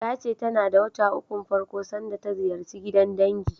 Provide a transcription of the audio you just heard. Ta ce tana wata ukun farko sanda ta ziyarci gidan dangi.